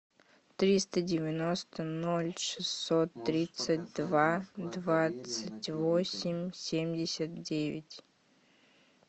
триста девяносто ноль шестьсот тридцать два двадцать восемь семьдесят девять